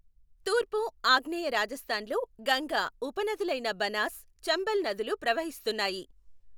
తూర్పు, ఆగ్నేయ రాజస్థాన్లో గంగా ఉపనదులైన బనాస్, చంబల్ నదులు ప్రవహిస్తున్నాయి.